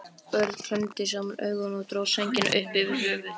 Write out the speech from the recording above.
Örn klemmdi saman augun og dró sængina upp yfir höfuð.